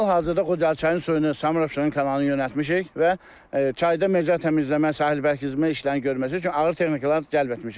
Hal-hazırda Qudalçayın suyunu Samurabşeron kanalına yönəltmişik və çayda mecra təmizləmə sahil bərkitmə işlərini görməsi üçün ağır texnikaları cəlb etmişik.